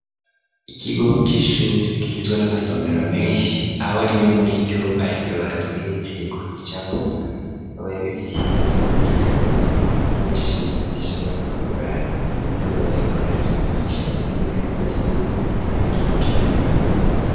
Ikigo c'ishure gihizwa n'amasomero menshi aho rimwe muri iryo ari ryo batweretse ku gicapo rikaba rero rifise ikibaho gitoya n'imashini zishobora kuagura ibyoba bariko barigisha boneka neza yuko ari mu kigo ca kaminuza.